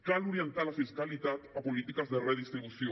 cal orientar la fiscalitat a polítiques de redistribució